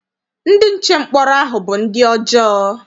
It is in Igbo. Ndị nche mkpọrọ ahụ bụ ndị ọjọọ.